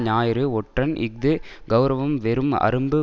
ஞாயிறு ஒற்றன் இஃது கெளரவம் வெறும் அரும்பு